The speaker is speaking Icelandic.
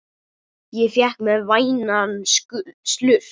Ég fékk mér vænan slurk.